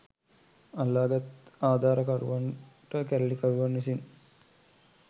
අල්ලාගත් ආධාරකරුවන්ට කැරලිකරුවන් විසින්